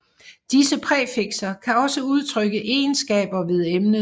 Disse præfikser kan også udtrykke egenskaber ved emnet